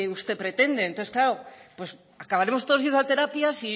usted pretende entonces claro acabaremos todos yendo a terapia